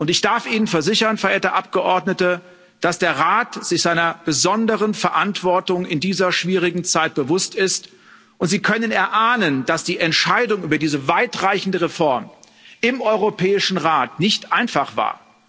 Ich darf Ihnen versichern, verehrte Abgeordnete, dass der Rat sich seiner besonderen Verantwortung in dieser schwierigen Zeit bewusst ist, und Sie können erahnen, dass die Entscheidung über diese weitreichende Reform im Europäischen Rat nicht einfach war.